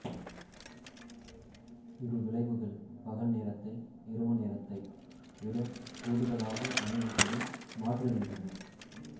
இரு விளைவுகள் பகல் நேரத்தை இரவு நேரத்தை விட குடூதலாக அமையும்படி மாற்றுகின்றன